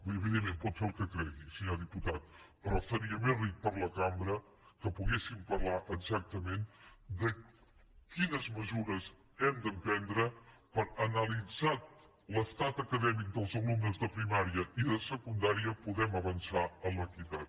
evidentment pot fer el que cregui senyor diputat però seria més ric per a la cambra que poguéssim parlar exactament de quines mesures hem d’emprendre perquè analitzat l’estat acadèmic dels alumnes de primària i de secundària puguem avançar en l’equitat